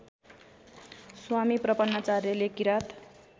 स्वामी प्रपन्नाचार्यले किराँत